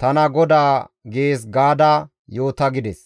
tana GODAA› gees gaada yoota» gides.